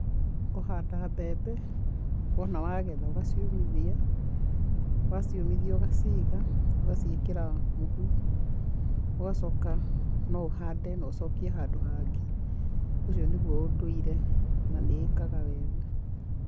Kũhanda mbembe, wona wagetha, ũgaciũmithia, waciũmithia ũgaciiga, ũgaciĩkĩra mũhu, ũgacoka, no ũhande na ũcokie handũ hangĩ. Ũcio nĩguo ũndũire, na nĩ ĩkaga wega.